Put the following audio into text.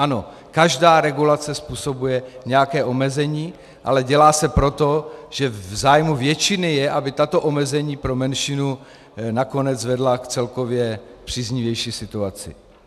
Ano, každá regulace způsobuje nějaké omezení, ale dělá se proto, že v zájmu většiny je, aby tato omezení pro menšinu nakonec vedla k celkově příznivější situaci.